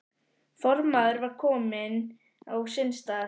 Formaðurinn var kominn á sinn stað.